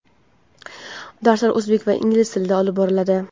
Darslar o‘zbek va ingliz tillarida olib boriladi.